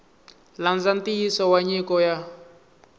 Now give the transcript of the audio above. landza nxiyisiso wa nyiko ya